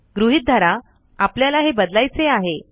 गृहीत धरा आपल्याला हे बदलायचे आहे